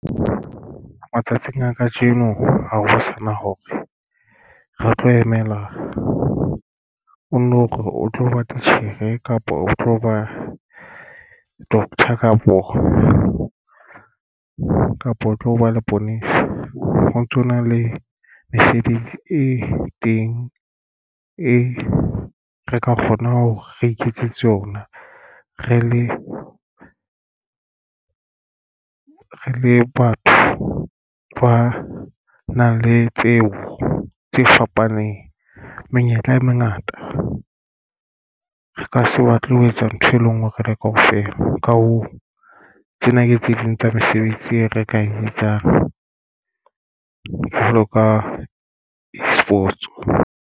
Matsatsing a kajeno ha ho sana hore re tlo emela o tlo ba titjhere kapa o tlo ba doctor kapo kapa ho tlo ba leponesa. Ho ntsona le mesebetsi e teng e re ka kgona hore re iketsetse ona re le re le batho ba nang le tseo tse fapaneng menyetla e mengata, re ka se batle ho etsa ntho e le ngwe re le kaofela. Ka hoo, tsena ke tse ding tsa mesebetsi e rekang etsang jwalo ka e-Sports.